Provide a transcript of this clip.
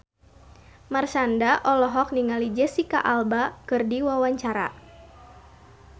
Marshanda olohok ningali Jesicca Alba keur diwawancara